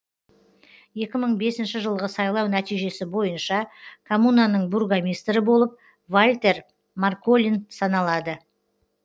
екі мың бесінші жылғы сайлау нәтижесі бойынша коммунаның бургомистрі болып вальтер марколин саналады